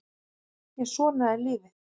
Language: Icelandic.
En svona er lífið